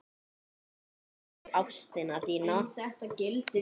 Takk fyrir ástina þína.